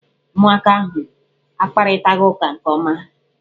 Ụmụaka ahụ akparịtaghị ụka nke ọma